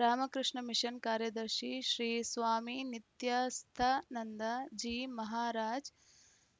Ramakrishna mission ಕಾರ್ಯದರ್ಶಿ ಶ್ರೀ ಸ್ವಾಮಿ ನಿತ್ಯಸ್ಥಾನಂದ ಜೀ ಮಹಾರಾಜ್‌